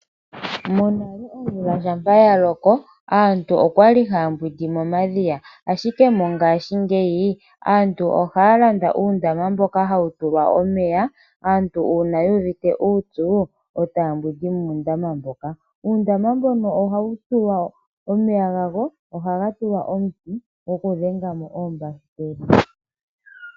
Monale omvula shampa ya loko, aantu okwa li haya mbwindi momadhiya. Ashike mongaashingeyi, aantu ohaya landa uundama mboka hawu tulwa omeya. Aantu uuna yuuvite uupyu e taya mbwindi muundama moka. Uundama oha wu tulwa omeya gago, ohaga tulwa omuti goku dhenga mo oombahiteli.